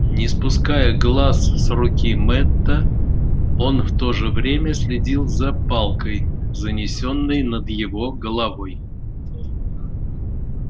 не спуская глаз с руки мэтта он в то же время следил за палкой занесённой над его головой